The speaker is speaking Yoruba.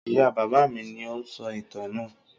Ìyá-bàbá mi ni ó ń sọ ìtàn náà.